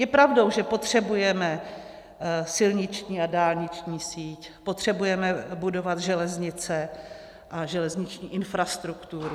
Je pravdou, že potřebujeme silniční a dálniční síť, potřebujeme budovat železnice a železniční infrastrukturu.